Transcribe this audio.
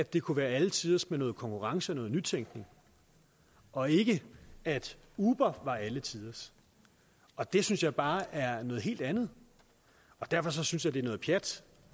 det kunne være alle tiders med noget konkurrence og noget nytænkning og ikke at uber var alle tiders og det synes jeg bare er noget helt andet derfor synes jeg det er noget pjat